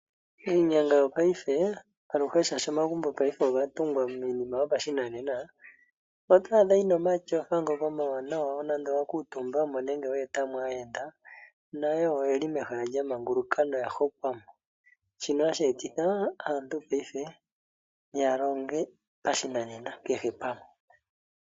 Iinyanga yopaife shaashi iinima oya tungwa pashinanena, oto adha yi na omatyofa ngoka omawanawa. Nuuna wa kuutumba mo nenge we eta mo aayenda, nayo wo oye li manguluka noya hokwa mo. Shino hashi etitha aantu ya longe pashinanena kehe pamwe.